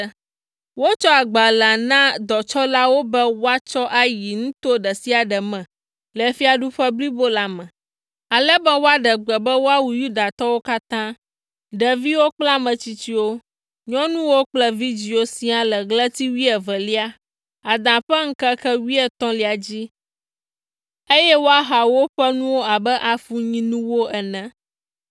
Wotsɔ agbalẽa na dɔtsɔlawo be woatsɔ ayi nuto ɖe sia ɖe me le fiaɖuƒe blibo la me, ale be woaɖe gbe be woawu Yudatɔwo katã, ɖeviwo kple ame tsitsiwo, nyɔnuwo kple vidzĩwo siaa le ɣleti wuievelia, Ada ƒe ŋkeke wuietɔ̃lia dzi, eye woaha woƒe nuwo abe afunyinuwo ene.